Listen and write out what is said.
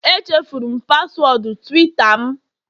Echefuru m paswọọdụ Tuweeta m